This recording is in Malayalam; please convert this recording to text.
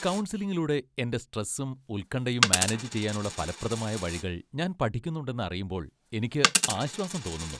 കൗൺസിലിങ്ങിലൂടെ എന്റെ സ്ട്രെസ്സും, ഉൽകണ്ഠയും മാനേജ് ചെയ്യാനുള്ള ഫലപ്രദമായ വഴികൾ ഞാൻ പഠിക്കുന്നുണ്ടെന്ന് അറിയുമ്പോൾ എനിക്ക് ആശ്വാസം തോന്നുന്നു.